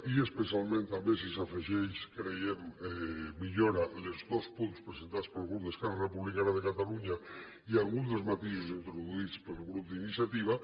i especialment també si s’hi afegeix creiem que millora els dos punts presentats pel grup d’esquerra republicana de catalunya i algun dels matisos introduïts pel grup d’iniciativa